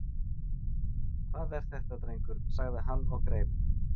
Hvað er þetta drengur? sagði hann og greip